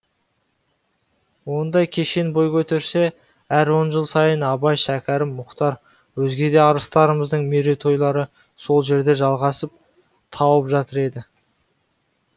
ондай кешен бой көтерсе әр он жыл сайын абай шәкәрім мұхтар өзге де арыстарымыздың мерейтойлары сол жерде жалғасын тауып жатар еді